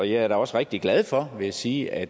jeg er da også rigtig glad for vil jeg sige at